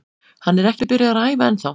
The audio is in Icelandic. Hann er ekki byrjaður að æfa ennþá.